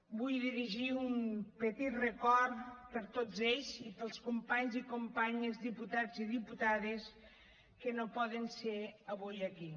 vull dirigir un petit record per tots ells i pels companys i companyes diputats i diputades que no poden ser avui aquí